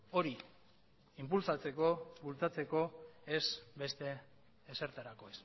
hori inpulsatzeko bultzatzeko ez beste ezertarako